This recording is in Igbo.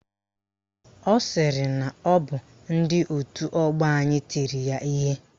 Ọ sịrị na ọ bụ ndị òtù ọgbọ anyị tiri ya ihe.